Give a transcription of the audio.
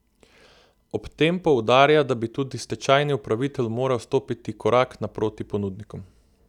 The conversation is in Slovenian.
Ob tem poudarja, da bi tudi stečajni upravitelj moral stopiti korak naproti ponudnikom.